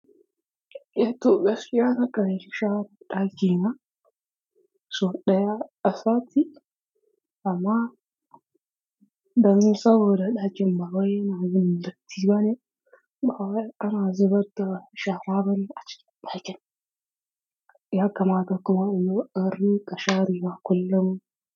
Eh toh gaskiya na ƙan share daki na, sau daya a sati, amma don saboda dakin ba wai ya na yin datti ba ne. Bawai ana zubar da shara ba ne acikin ɗakin. Ya kamata anrinƙa sharewa kullum.